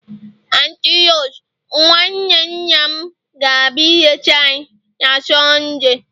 Anti Rose, nwanne nna m gabia ileta anyi na Sundee